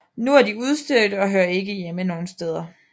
Nu er de udstødte og hører ikke hjemme nogle steder